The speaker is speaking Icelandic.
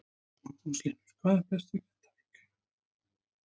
Magnús Hlynur: Hvað er best við Grindavík?